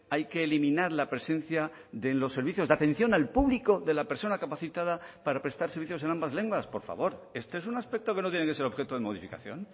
hay que eliminar la presencia de los servicios de atención al público de la persona capacitada para prestar servicios en ambas lenguas por favor este es un aspecto que no tiene que ser objeto de modificación